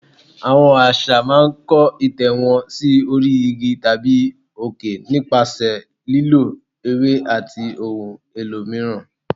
Àwọn Àṣá máa ń kó ìtẹ́ wọn sí orí igi tàbí òkè nípasẹ̀ lílọ ewé àti ohun èlò mìíràn.